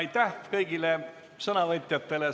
Aitäh kõigile sõnavõtjatele!